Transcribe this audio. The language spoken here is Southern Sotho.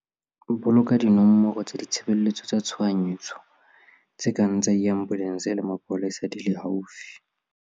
Boloka dinomoro tsa ditshebeletso tsa tshohanyetso tse kang tsa diambolense le tsa mapolesa di le haufi.